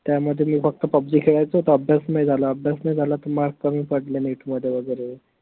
त्यामध्ये मी फक्त PUBG खळायचो त अभ्यास नाई झाला अभ्यास नाई झाला त mark कमी पडले NET मध्ये वगैरे